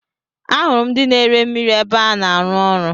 Ahụrụ m ndị na ere mmiri ébé a na-aru ụlọ.